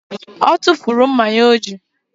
O tufuru mma ya o ji